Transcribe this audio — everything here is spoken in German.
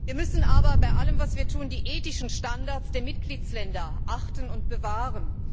Wir müssen aber bei allem, was wir tun, die ethischen Standards der Mitgliedstaaten achten und bewahren.